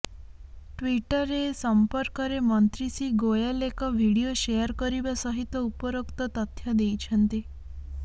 ଟ୍ବିଟରରେ ଏ ସମ୍ପର୍କରେ ମନ୍ତ୍ରୀ ଶ୍ରୀ ଗୋୟଲ ଏକ ଭିଡିଓ ସେୟାର କରିବା ସହିତ ଉପରୋକ୍ତ ତଥ୍ୟ ଦେଇଛନ୍ତି